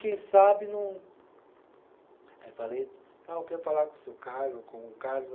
Quem sabe não. Aí eu falei, eu quero falar com o seu Carlos, com o Carlos.